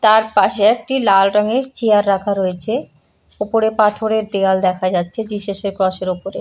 তার পাশে একটি লাল রঙের চেয়ার রাখা রয়েছে। ওপরে পাথরের দেয়াল দেখা যাচ্ছে জিসাস -এর ক্রস -এর ওপরে ।